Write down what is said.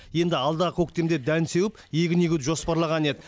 енді алдағы көктемде дән сеуіп егін егуді жоспарлаған еді